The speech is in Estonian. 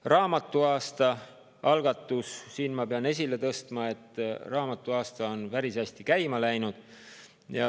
Raamatuaasta algatust ma pean esile tõstma, raamatuaasta on päris hästi käima läinud.